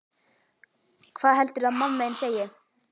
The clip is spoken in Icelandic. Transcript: Hvað heldurðu að mamma þín segi?